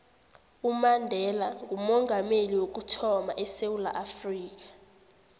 umandela ngoomongameli wokuthama edewula afrika